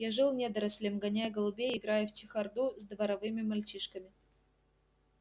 я жил недорослем гоняя голубей и играя в чехарду с дворовыми мальчишками